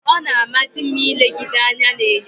Ọ na-amasị m ilegide anya n'enyo.